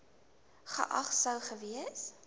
geag sou gewees